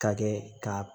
Ka kɛ ka